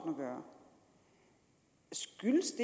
at gøre skyldes